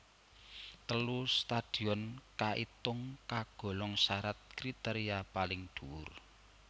Telu stadion kaitung kagolong syarat kriteria paling dhuwur